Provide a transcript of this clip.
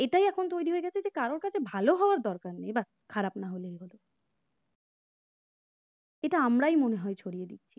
কারোর কাছে ভালো হওয়ার দরকার নেই খারাপ না হলেই হলো এটা আমরাই মনে হয় ছড়িয়ে দিচ্ছি